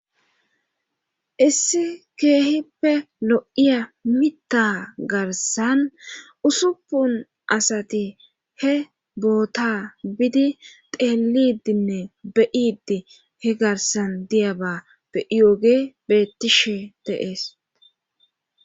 Issi keehippe lo'iya mita garsan usuppun asati he boota bidi teelidinne beyidi he garsan diyaba beiyooge bettishe deees.